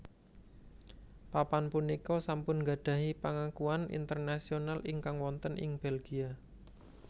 Papan punika sampun gadhahi pangakuan Internasional ingkang wonten ing Belgia